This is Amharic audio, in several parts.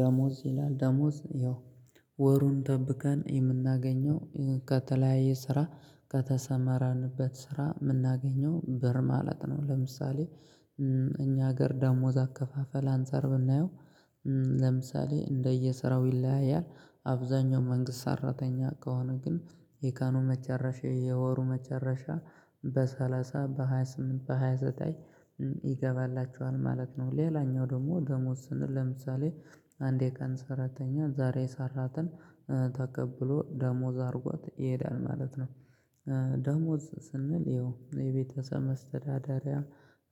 ደሞዝ ይላል ደሞዝ ያው ወሩን ጠብቀን የምናገኘው ከተለያየ ስራ ከተሰማራንበት ስራ የምናገኘው ብር ማለት ነው። ለምሳሌ እኛ ሀገር ደሞዝ አከፋፈል አንፃር ብናየው። ለምሳሌ እንደየስራው ይለያያል አብዛኛው መንግስት ሰራተኛ ከሆነ ግን የቀኑ መጨረሻ የወሩ መጨረሻ በሰላሳ በሃያ ስምንት በሃያ ዘጠኝ ይገባላቸዋል ማለት ነው። ሌላኛው ደግሞ ደሞዝ ስንል ለምሳሌ አንድ የቀን ሰራተኛ ዛሬ የሰራትን ተቀብሎ ደሞዝ አድርጎት ይሄዳል ማለት ነው። ደሞዝ ስንል ያው የቤተሰብ መተዳደሪያ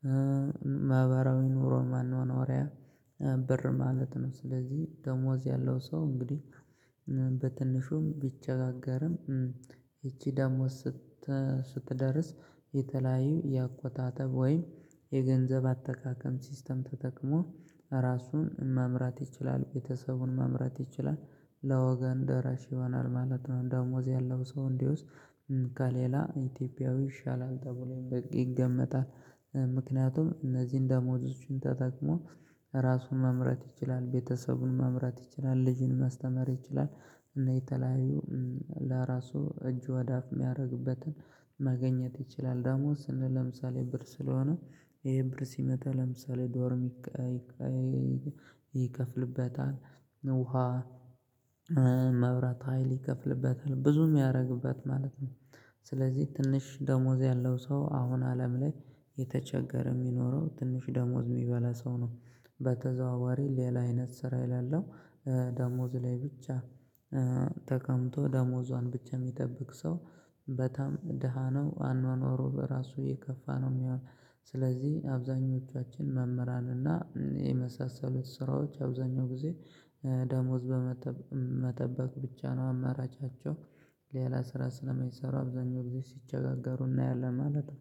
መ ማህበራዊ ኑሮ መኗኗሪያ ብር ማለት ነው። ስለዚህ ደሞዝ ያለው ሰው እንግዲህ በትንሹም ቢቸጋገርም ይቺ ደሞዝ ስት ስትደርስ የተለያዩ የአቆጣጠብ ወይም የገንዘብ አጠቃቀም ሲስተም ተጠቅሞ ራሱን መምራት ይችላል ቤተሰቡን መምራት ይችላል ለወገን ደራሽ ይሆናል ማለት ነው። ደሞዝ ያለው ሰው እንግዲያውስ ከሌላ ኢትዮጵያዊ ይሻላል ተብሎ ይገመታል። ምክንያቱም እነዚህን ደሞዙቹን ተጠቅሞ ራሱን መምራት ይችላል ቤተሰቡን መምራት ይችላል ልጁን ማስተመር ይችላል። እና የተለያዩ ለራሱ እጁ ወደ አፍ የሚያደርግበትን ማግኘት ይችላል ደሞዝ ስንል ለምሳሌ ብር ስለሆነ ይሄ ብር ሲመጣ ለምሳሌ ዶርም ይከ ይከ ይከፍልበታል። ውሃ መብራት ሀይል ይከፍልበታል ብዙ የምያደርግበት ማለት ነው። ስለዚህ ትንሽ ደሞዝ ያለው ሰው አሁን አለም ላይ የተቸገረ የሚኖረው ትንሽ ደሞዝ የሚበላ ሰው ነው። በተዘዋዋሪ ሌላ አይነት ስራ የሌለው ደሞዝ ላይ ብቻ ተቀምጦ ደሞዟን ብቻ የሚጠብቅ ሰው በጣም ደሃ ነው አኗኗሩ በራሱ የከፋ ነው የሚሆነው። ስለዚህ አብዛኞቻችን መምህራን እና የመሳሰሉት ስራዎች አብዛኛው ጊዜ ደሞዝ በመጠ መጠበቅ ብቻ ነው አማራጫቸው። ሌላ ስራ ስለማይሰሩ አብዛኛውን ጊዜ ሲቸጋገሩ እናያለን ማለት ነው